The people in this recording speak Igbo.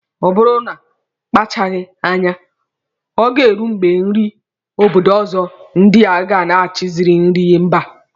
Ọ bụrụ na a kpachaghi anya, Oge ga-eru mgbe nri obodo ọzọ ndi a ga na-achizi nri mba.